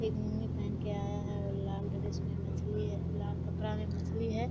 एक लूँगी पहन के आया है और लाल ड्रेस मे मछली है और लाल कपड़ा मे मछली है|